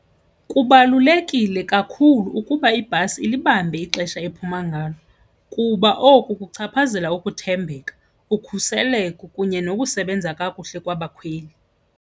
Kubalulekile kakhulu ukuba ibhasi ilibambe ixesha ephuma ngalo kuba oku kuchaphazela ukuthembeka, ukhuseleko kunye nokusebenza kakuhle kwabakhweli.